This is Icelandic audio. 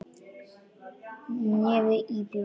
Nefið íbjúgt.